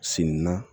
Sin na